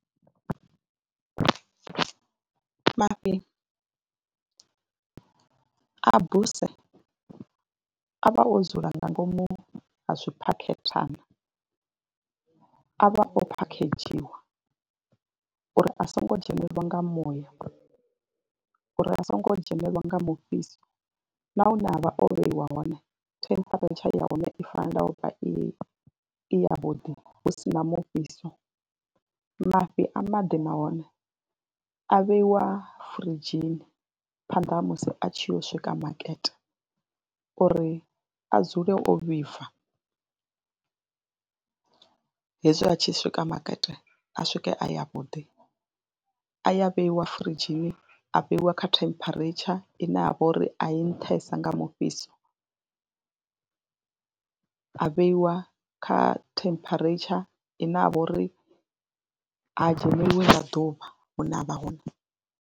Mafhi a buse a vha o dzula nga ngomu ha zwiphakhethana a vha o phakhedzhiwa ya uri a songo dzhenelelwa nga muya, uri a songo dzhenelelwa nga mufhiso na hune a vha o vheiwa hone temperature ya hone i fanela u vha i i yavhuḓi hu si na mufhiso, Mafhi a maḓi nahone a vheiwa firidzhini phanḓa ha musi a tshi yo swika makete uri a dzule o vhibva, hezwi a tshi swika makete a swike a yavhuḓi, a ya vheiwa firidzhini, a vheiwa kha temperature ine ya vha uri a i nṱhesa nga mufhiso, a vheiwa kha temperature ine ha vha uri ha dzheneliwi nga ḓuvha hune a vha hone.